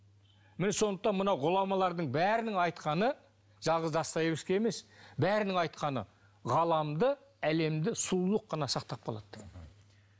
міне сондықтан мынау ғұламалардың бәрінің айтқаны жалғыз достоевский емес бәрінің айтқаны ғаламды әлемді сұлулық қана сақтап қалады